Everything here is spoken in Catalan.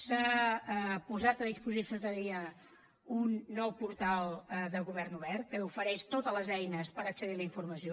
s’ha posat a disposició de la ciutadania un nou portal de govern obert que ofereix totes les eines per accedir a la informació